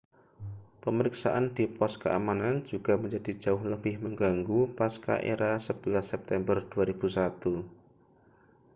pemeriksaan di pos keamanan juga menjadi jauh lebih mengganggu pasca-era 11 september 2001